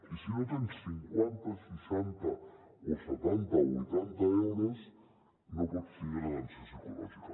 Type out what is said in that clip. i si no tens cinquanta seixanta o setanta o vuitanta euros no pots tindre atenció psicològica